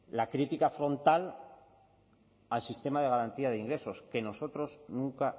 la crítica frontal al sistema de garantía de ingresos que nosotros nunca